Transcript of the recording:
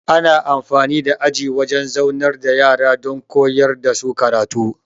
Ana amfani da aji wajan zaunar da yara don koyar dasu karatu